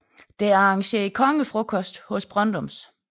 Der er arrangeret kongefrokost hos Brøndums